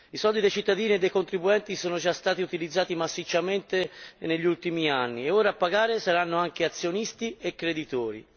I soldi dei cittadini e dei contribuenti sono già stati utilizzati massicciamente negli ultimi anni e ora a pagare saranno anche azionisti e creditori.